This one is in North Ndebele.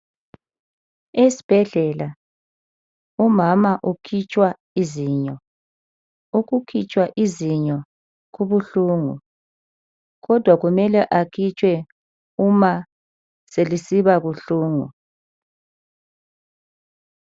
Esibhedlela umama ukhitshwa izinyo. Ukukhitshwa izingo kubuhlungu kodwa kumele akhitshwe uma selisiba buhlungu.